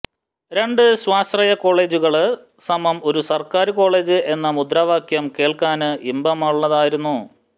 രണ്ട് സ്വാശ്രയ കോളേജുകള് സമം ഒരു സര്ക്കാര് കോളേജ് എന്ന മുദ്രാവാക്യം കേള്ക്കാന് ഇമ്പമാര്ന്നതായിരുന്നു